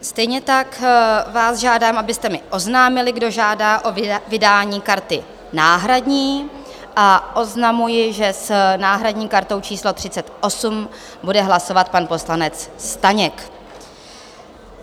Stejně tak vás žádám, abyste mi oznámili, kdo žádá o vydání karty náhradní, a oznamuji, že s náhradní kartou číslo 38 bude hlasovat pan poslanec Staněk.